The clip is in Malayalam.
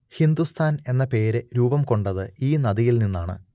ഹിന്ദുസ്ഥാൻ എന്ന പേര് രൂപം കൊണ്ടത് ഈ നദിയിൽ നിന്നാണ്